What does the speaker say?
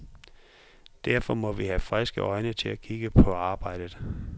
Derfor må vi have friske øjne til at kigge på arbejdet.